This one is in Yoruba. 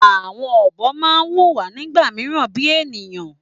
Àwọn ọ̀bọ ma n wùwà nígbà míràn bíi ènìyàn